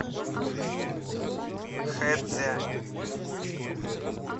хэцзянь